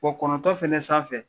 Wɔ kɔnɔntɔ fɛnɛ sanfɛ